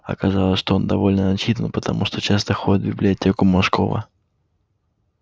оказалось что он довольно начитан потому что часто ходит в библиотеку мошкова